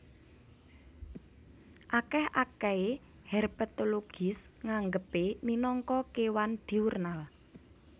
Akèh akèhé herpetologis nganggepé minangka kéwan diurnal